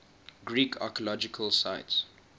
greek archaeological sites